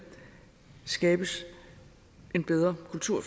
skabes en bedre kultur